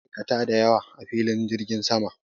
Akwai ma'aikata da yawa a filin jirgin sama.